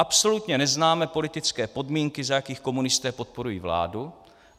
Absolutně neznáme politické podmínky, za jakých komunisté podporují vládu.